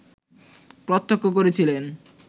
প্রত্যক্ষ করেছিলেন